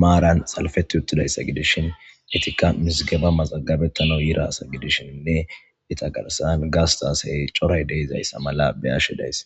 marani salipeti utidayisa gidishini ettika mizigeba nmazagabetanawu yidda assa gidishene etta garissan gasitta asse dizayissa beyashe dayisi